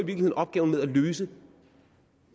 i opgaven med at løse